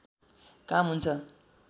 काम हुन्छ